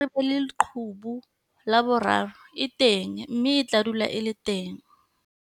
Ketsahalo ya hore re be le leqhubu la boraro e teng mme e tla dula e le teng.